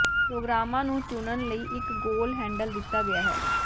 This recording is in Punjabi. ਪ੍ਰੋਗਰਾਮਾਂ ਨੂੰ ਚੁਣਨ ਲਈ ਇੱਕ ਗੋਲ ਹੈਂਡਲ ਦਿੱਤਾ ਗਿਆ ਹੈ